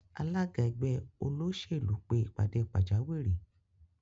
Alága ẹgbẹ́ Olóṣèlú pe ìpàdé pàjáwìrì